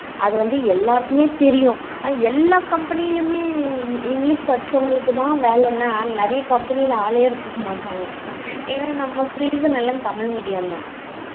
அது வந்து எல்லாருக்குமே தெரியும் எல்லா company லயுமே english படிச்சவுங்களுக்கு தான் வேலைனா நிறைய company ஆளே எடுக்க மாட்டாங்க என்னா நம்ம பேசுனது எல்லாம் தமிழ் medium தான்